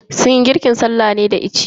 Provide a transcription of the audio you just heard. Sunyi girkin sallah ne a da itace.